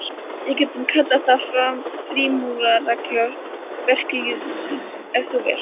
Við getum kallað það frímúrarareglu verkalýðsins, ef þú vilt.